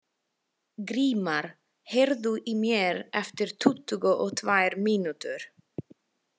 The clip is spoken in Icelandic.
Grímar, heyrðu í mér eftir tuttugu og tvær mínútur.